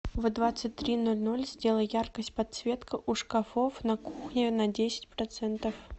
в двадцать три ноль ноль сделай яркость подсветка у шкафов на кухне на десять процентов